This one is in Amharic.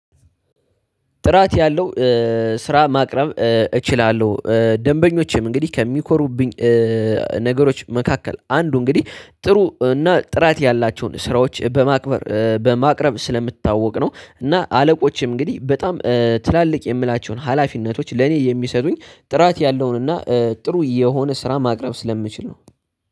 ጥራት ያለው ስራ ማቅረብ እችላለሁ ደንበኞቼም እንግዲህ ከሚኮሩብኝ ነገሮች መካከል አንዱ እንግዲህ ጥሩ እና ጥራት ያላቸውን ስራዎች በማክበር በማቅረብ ስለምታወቅ ነው እና አለቆችም እንግዲህ በጣም ትላልቅ የምላቸውን ሀላፊነቶች ለእኔ የሚሰጡኝ ጥራት ያለውን እና ጥሩ የሆነ ስራ ማቅረብ ስለምችል ነው።